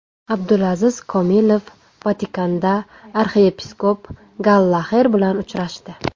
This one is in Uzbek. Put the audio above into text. Abdulaziz Komilov Vatikanda arxiyepiskop Gallaxer bilan uchrashdi.